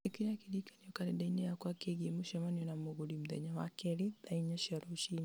ĩkĩra kĩririkano karenda-inĩ yakwa kĩĩgiĩ mũcemanio na mũgũri mũthenya wa keerĩ thaa inya cia rũciinĩ